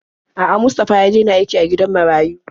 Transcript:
A'a, Mustafa ya dena aiki a gidan marayu.